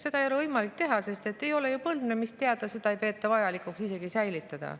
Seda ei ole võimalik enam teha, sest ei ole ju teada põlvnemist, ei peeta vajalikuks isegi säilitada.